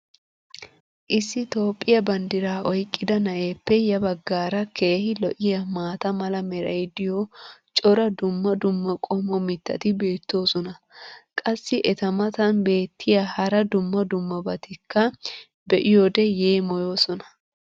issi toophphiya bandiraa oyqqida na'eeppe ya bagaara keehi lo'iyaa maata mala meray diyo cora dumma dumma qommo mitatti beetoosona. qassi eta matan beetiya hara dumma dummabatikka be'iyoode yeemmoyoosona.